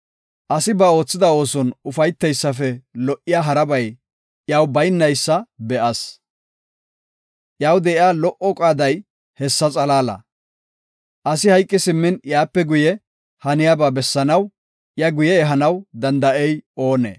Asi ba oothida ooson ufayteysafe lo77iya harabay iyaw baynaysa be7as. Iyaw de7iya lo77o qaaday hessa xalaala. Asi hayqi simmin iyape guye haniyaba bessanaw, iya guye ehanaw danda7ey oonee?